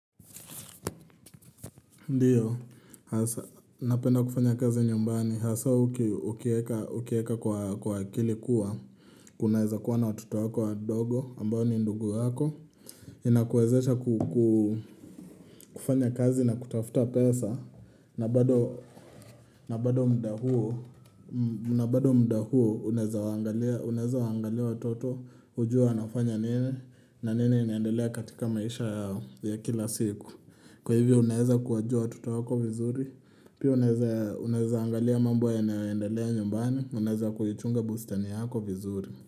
Ndiyo, hasa, napenda kufanya kazi nyumbani, hasa ukieka, ukieka kwa akili kuwa, kunaweza kuwa na watoto wako wadogo, ambao ni ndugu wako, inakuwezesha kufanya kazi na kutafuta pesa, na bado, na bado mda huo, na bado mda huo, unaweza wangalia, unaweza wangalia watoto, ujue wanafanya nini, na nini inaendelea katika maisha yao ya kila siku. Kwa hivyo unaeza kuwajua watoto wako vizuri Pia unaeza angalia mambo yanayo endelea nyumbani Unaeza kuyichunga bustani yako vizuri.